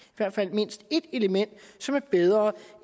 hvert fald mindst ét element som er bedre